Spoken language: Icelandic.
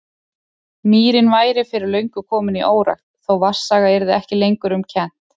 Mýrin væri fyrir löngu komin í órækt, þó vatnsaga yrði ekki lengur um kennt.